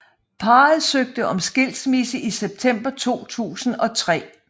Parret søgte om skilsmisse i september 2003